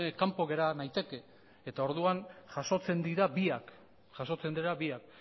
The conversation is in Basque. kanpo gera naitekeelako eta orduan jasotzen dira biak